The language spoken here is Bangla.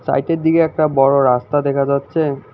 সাইটের দিকে একটা বড় রাস্তা দেখা যাচ্ছে।